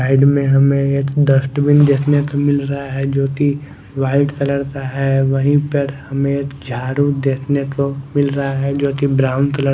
side में हमे एक डस्टबिन देखने को मिल रहा है जो की वाइट कलर का है वही पर हमे जाडू देखने को मिल रहा है जोकि ब्राउन कलर --